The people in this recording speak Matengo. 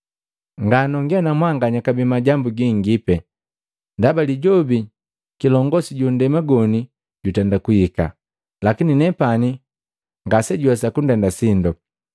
Nga nongee na mwanganya kabee majambu gingipi, ndaba lijobi kilongosi ju nndema goni jutenda kuhika. Lakini nepani ngasejunhwesa kundenda sindo,